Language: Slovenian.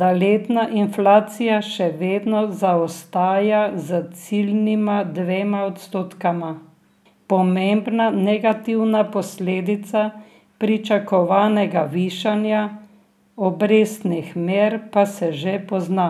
da letna inflacija še vedno zaostaja za ciljnima dvema odstotkoma, pomembna negativna posledica pričakovanega višanja obrestnih mer pa se že pozna.